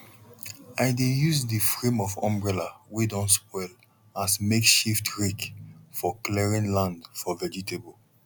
i dey use the frame of umbrella wey don spoil as makeshift rake for clearing land for vegetable